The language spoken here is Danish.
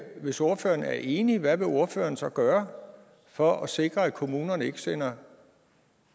hvis ordføreren er enig i hvad vil ordføreren så gøre for at sikre at kommunerne ikke sender